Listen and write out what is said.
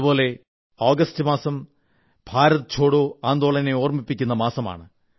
അതേപോലെ ആഗസ്റ്റ് മാസം ഭാരത് ഛോഡോ ആന്ദോളനെ ഓർമ്മിപ്പിക്കുന്ന മാസമാണ്